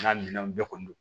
N'a minɛnw bɛɛ kɔni don